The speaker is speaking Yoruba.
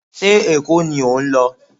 Ṣé Èkó ni ò ń lọ?